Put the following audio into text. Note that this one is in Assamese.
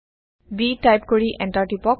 b টাইপ কৰি এণ্টাৰ টিপক